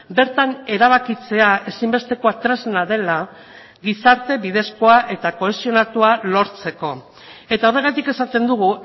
bertan erabakitzea ezinbesteko tresna dela gizarte bidezkoa eta kohesionatua lortzeko eta horregatik esaten dugu